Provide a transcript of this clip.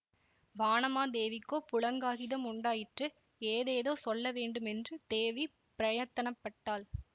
வானமாதேவிக்கோ புளங்காங்கிதம் உண்டாயிற்று ஏதேதோ சொல்ல வேண்டுமென்று தேவி பிரயத்தன பட்டாள்